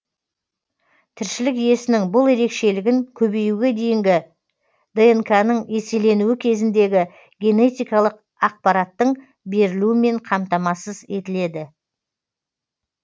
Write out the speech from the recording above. тіршілік иесінің бұл ерекшелігін көбеюге дейінгі днқ ның еселенуі кезіндегі генетикалық ақпараттың берілуімен қамтамасыз етіледі